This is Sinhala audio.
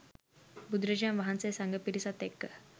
බුදුරජාණන් වහන්සේ සඟ පිරිසත් එක්ක